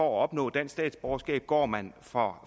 opnå dansk statsborgerskab går man fra